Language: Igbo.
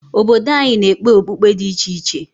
Obodo anyị na-ekpe okpukpe dị iche iche.